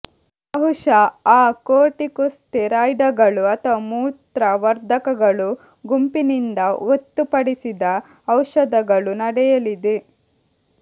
ಬಹುಶಃ ಆ ಕೊರ್ಟಿಕೊಸ್ಟೆರಾಯ್ಡ್ಗಳು ಅಥವಾ ಮೂತ್ರವರ್ಧಕಗಳು ಗುಂಪಿನಿಂದ ಗೊತ್ತುಪಡಿಸಿದ ಔಷಧಗಳು ನಡೆಯಲಿದೆ